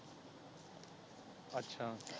ਅੱਛਾ